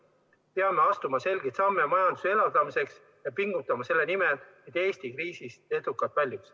Me peame astuma selgeid samme majanduse elavdamiseks ja pingutama selle nimel, et Eesti kriisist edukalt väljuks.